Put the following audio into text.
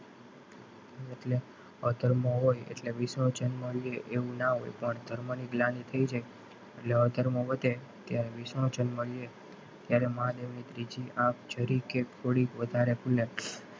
અધર્મ હોય એટલે વિષ્ણુ જન્મ એવું ના હોય પણ ધર્મ ની ગ્લાનિ થય છે એટલે અધર્મ વધે કે વિષ્ણુ જન્મ લે ત્યારે મહાદેવની ત્રીજી આંખ જરીક યે થોડી વધારે ખુલે,